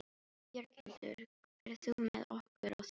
Björghildur, ferð þú með okkur á þriðjudaginn?